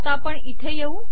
आता इथे येऊ